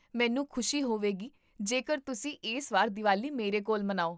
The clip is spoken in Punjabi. ਮੈਨੂੰ ਖੁਸ਼ੀ ਹੋਵੇਗੀ ਜੇਕਰ ਤੁਸੀਂ ਇਸ ਵਾਰ ਦੀਵਾਲੀ ਮੇਰੇ ਕੋਲ ਮਨਾਓ